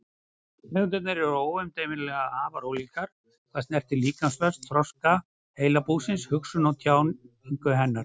Tegundirnar eru óumdeilanlega afar ólíkar hvað snertir líkamsvöxt, þroska heilabúsins, hugsun og tjáningu hennar.